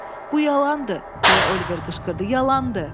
"Bu yalandır", deyə Oliver qışqırdı, "yalandır!"